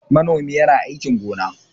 Manomi yana aikin gona.